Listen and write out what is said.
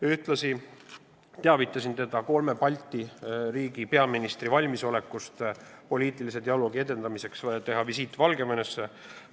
Ühtlasi teavitasin teda kolme Balti riigi peaministri valmisolekust teha poliitilise dialoogi edendamiseks visiit Valgevenesse.